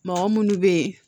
Mɔgɔ munnu be yen